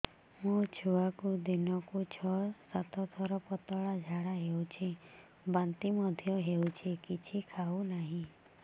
ମୋ ଛୁଆକୁ ଦିନକୁ ଛ ସାତ ଥର ପତଳା ଝାଡ଼ା ହେଉଛି ବାନ୍ତି ମଧ୍ୟ ହେଉଛି କିଛି ଖାଉ ନାହିଁ